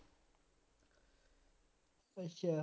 ਅੱਛਾ